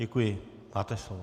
Děkuji, máte slovo.